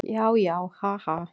Já, já, ha, ha.